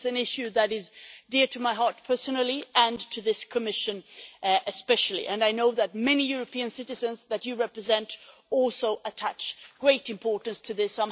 It's an issue that is dear to my heart personally and to this Commission especially, and I know that many European citizens that you represent also attach great importance to this.